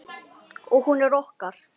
Og hún er okkar.